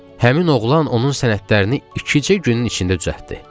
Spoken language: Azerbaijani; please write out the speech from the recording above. Həmin oğlan onun sənədlərini ikicə günün içində düzəltdi.